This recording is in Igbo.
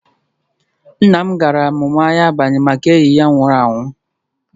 Nna m gara amụma anya abalị Make enyi ya nwụrụ anwụ